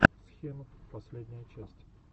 схемов последняя часть